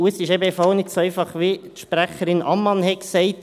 Es ist eben auch nicht so einfach, wie die Sprecherin Ammann sagte.